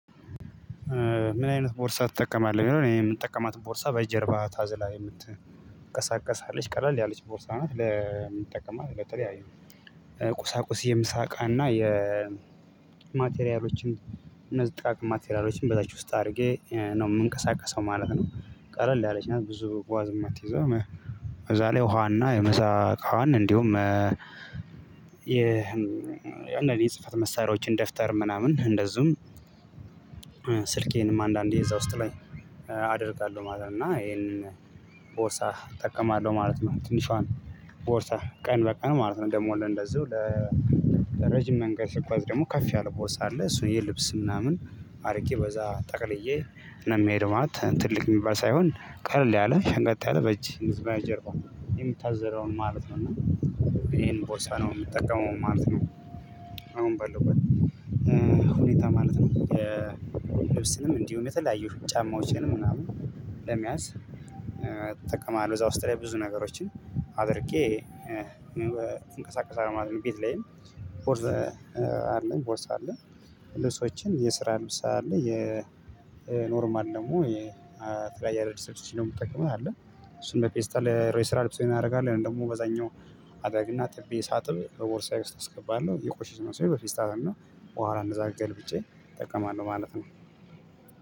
ምን አይነት ቦርሳ ትጠቀማለህ ይኔ የምትጠቀማትን ቦርሳ በጀርባ ታዝላ የምትቀሳቀስ አለች ቀለል ያለች ቦርሳ ነው? ለምን ይጠቀማል ለተለያዩ ቁሳቁስ የምሳቃና የማቴሪያሎችን ማቴሪያሎችን እነዚህ ጥቃቅን ማቴሪያሎችን በታች ውስጥ አድርጌ ነው የምንቀሳቀሰው ማለት ነው። ቀለል ያለች ናት ብዙ ጓዝ የማትይዘው ከዛ ላይ ውሃና የመሳ እቃዋን እንዲሁም የአንዳንድ የጽህፈት መሳሪያዎችን ደፍተር ምናምን እንደዚሁም ስልኬንም አንዳንዴ እዛ ውስጥ ላይ አደርጋለሁ ማለት ነው። እና ይሄንን ቦርሳ እጠቀማለሁ ማለት ነው። ትንሿን ቦርሳ ቀን በቀን ማለት ነው ደሞ ለእንደዚሁ ለረጅም መንገድ ስጓዝ ደግሞ ከፍ ያለ ቦርሳ አለ። እሱን የልብስ ምናምን አርግ በዛ ጠቅልዬ ነው ምሄደው ማለት ትልቅ የሚባል ሳይሆን ቀለል ያለ ሸንቀጥ ያለ በእጅ ጀርባ የሚታዘለውን ማለት ነው። እና ይሄን ቦርሳ ነው የምጠቀመው ማለት ነው። አሁን በሉበት ሁኔታ ማለት ነው የልብስንም እንዲሁም የተለያዩ ጫማዎችን ምናምን ለመያዝ እጠቀማለሁ እዛ ውስጥ ላይ ብዙ ነገሮችን አድርጌ እንቀሳቀሳለሁ ማለት ነው። ቤት ላይም ቦርስ አለኝ ቦርስ አለኝ ለሰዎችም የስራ ልብስ አለ የኖርማል ደግሞ የተለያየ አዳዲስ የምትጠቀመው አለ። እሱን መፌስታል የስራ ልብሴን አደርጋለሁ ያን ደግሞ በዛኛው አደርግና አጥቤ ሳጥብ በቦርሳዬ ውስጥ አስገባለሁ የቆሸሽ ልብሴን በፌስታል እና በኋላ እንደዛ ገልብጬ እጠቀማለሁ ማለት ነው።